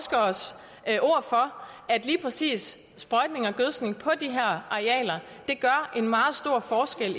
at lige præcis sprøjtning og gødskning på de her arealer gør en meget stor forskel